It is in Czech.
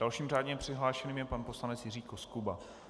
Dalším řádně přihlášeným je pan poslanec Jiří Koskuba.